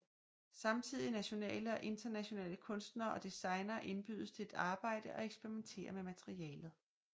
Samtidige nationale og internationale kunstnere og designere indbydes til at arbejde og eksperimentere med materialet